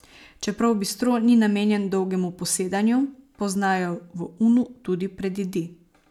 Čeprav bistro ni namenjen dolgemu posedanju, poznajo v Unu tudi predjedi.